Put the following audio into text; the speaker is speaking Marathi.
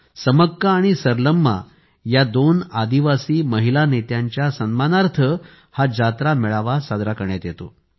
समक्का आणि सरलम्मा या दोन आदिवासी महिला नेत्यांच्या सन्मानार्थ सरलम्मा जातरा मेळा साजरा करण्यात येतो